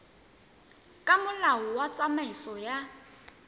ka molao wa tsamaiso ya